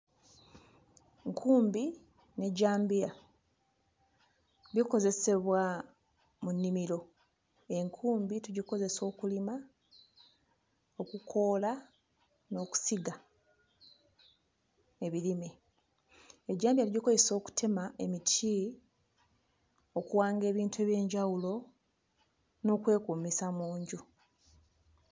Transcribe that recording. Nkumbi n'ejjambiya bikozesebwa mu nnimiro, enkumbi tugikozesa okulima, okukoola n'okusiga ebirime, ejjambiya tugikozesa okutema emiti, okuwanga ebintu eby'enjawulo n'okwekuumisa mu nju.